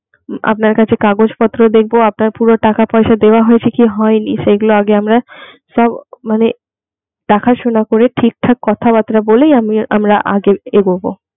আপনার কাছে কাগজপত্র দেখবো আপনার পুরো টাকাপয়সা দেয়া হয়েছে কি হয় নি সেগুলো আগে আমরা সব মানে দেখাশুনা করে ঠিকঠাক কথাবার্তা বলেই আমি আমরা আগে এগুবো.